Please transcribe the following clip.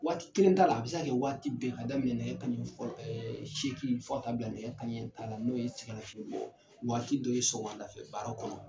Waati kelen t'a la ,a bi se ka kɛ waati bɛɛ. Ka daminɛ nɛgɛ kanɲɛ seegin fo ka taa bila nɛgɛ kaɲɛ tan na, n'o ye sɛngɛlafiɲɛ bɔ waati dɔ ye sɔgɔmadafɛ baara kɔnɔ.